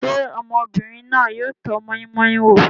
Ṣé ọmọbìnrin náà yóò tọ́ moi-moi wò?